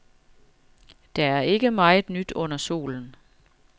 Der er ikke meget nyt under solen.